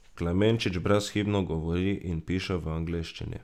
Klemenčič brezhibno govori in piše v angleščini.